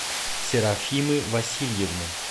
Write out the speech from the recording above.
серафимы васильевны